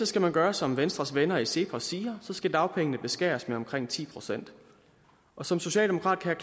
skal man gøre som venstres venner i cepos siger så skal dagpengene beskæres med omkring ti procent som socialdemokrat kan